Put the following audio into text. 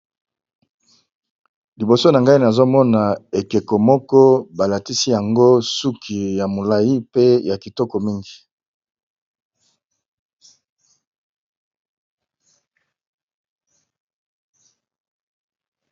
Liboso na ngai nazo mona ekeko moko ba latisi yango suki ya molayi pe ya kitoko mingi .